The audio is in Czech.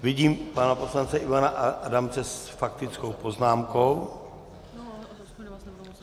Vidím pana poslance Ivana Adamce s faktickou poznámkou.